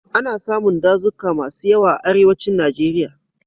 Ana samun dazuka masu yawa a Arewacin Najeriya.